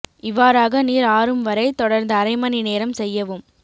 இவ்வாறாக நீர் ஆறும் வரை தொடர்ந்து அரை மணி நேரம் செய்யவும்